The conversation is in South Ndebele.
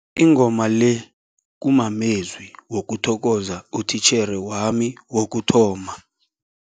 Ingoma le kumamezwi wokuthokoza utitjhere wami wokuthoma.